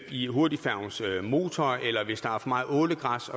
i hurtigfærgens motor eller hvis der er for meget ålegræs